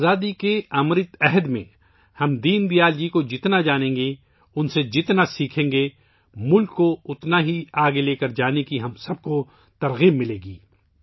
آزادی کے امرت کال میں، ہم دین دیال جی کو جتنا سمجھیں گے ، ان سے جتنا سیکھیں گے، ملک کو اتنا ہی آگے لے کر جانے کی ہم سب کو تحریک ملے گی